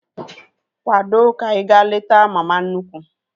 Kwado ka anyị ga-leta mama nnukwu!